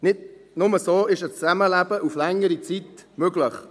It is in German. Nur so ist ein Zusammenleben auf längere Zeit möglich.